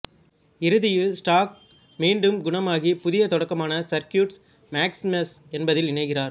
இறுதியில் ஸ்டார்க் மீண்டும் குணமாகி புதிய தொடக்கமான சர்க்யூட்ஸ் மேக்சிமஸ் என்பதில் இணைகிறார்